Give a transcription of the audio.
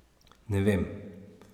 Ne vem.